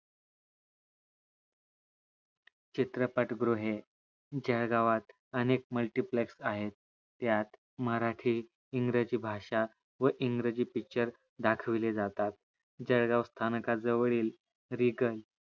चेत्रपाटगृहे जळगावत अनेक multiplex आहेत यात मराठी इंग्रजी भाषा व इंग्रजी picture दाखविले जातात जळगाव स्थानका जवळील रिगल